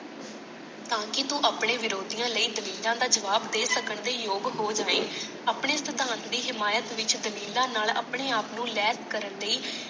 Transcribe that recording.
ਤਾਂ ਕਿ ਤੂੰ ਆਪਣੇ ਵਿਰੋਧੀਆਂ ਲਈ ਦਲੀਲਾਂ ਦਾ ਜਵਾਬ ਦੇ ਸਕਣ ਦੇ ਯੋਗ ਹੋ ਜਾਵੇ। ਆਪਣੇ ਸਿਧਾਂਤ ਦੀ ਹਿਮਾਇਤ ਵਿਚ ਦਲੀਲਾਂ ਨਾਲ ਆਪਣੇ ਆਪ ਨੂੰ ਲਾਇਕ ਕਰਨ ਲਈ।